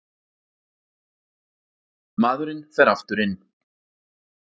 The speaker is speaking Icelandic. Maðurinn fer aftur inn.